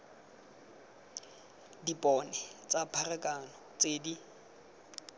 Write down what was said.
dipone tsa pharakano tse di